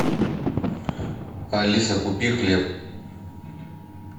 алиса купи хлеб